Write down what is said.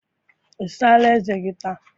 I saala eze gi taa?